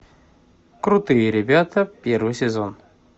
крутые ребята первый сезон